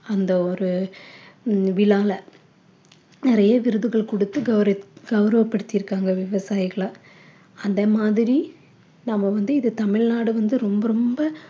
அந்த ஒரு விழால நிறைய விருதுகள் குடுத்து கௌரவ கௌரவ படுத்திருக்காங்க விவசாயிகள அந்த மாதிரி நம்ம வந்து இது தமிழ்நாடு வந்து ரொம்ப ரொம்ப